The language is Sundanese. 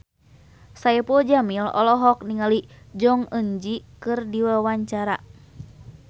Saipul Jamil olohok ningali Jong Eun Ji keur diwawancara